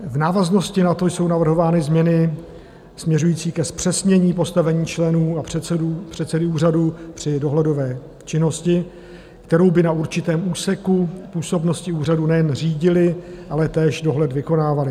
V návaznosti na to jsou navrhovány změny směřující ke zpřesnění postavení členů a předsedy úřadu při dohledové činnosti, kterou by na určitém úseku působnosti úřadu nejen řídili, ale též dohled vykonávali.